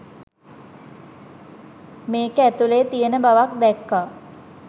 මේක ඇතුළෙ තියෙන බවක් දැක්කා.